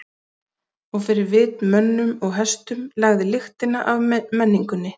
Og fyrir vit mönnum og hestum lagði lyktina af menningunni.